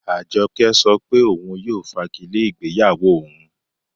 Ajọkẹ̀ sọ́ pé ọun yóò fàgìlẹ̀ igbeyáwó ọun.